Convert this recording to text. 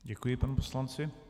Děkuji panu poslanci.